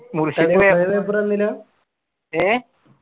ഏ